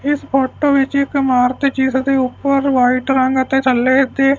ਇਸ ਫੋਟੋ ਵਿੱਚ ਇਕ ਇਮਾਰਤ ਹੈ ਜਿਸਦੇ ਉੱਪਰ ਵਾਈਟ ਰੰਗ ਹੈ ਤੇ ਥੱਲੇ ਤੇ----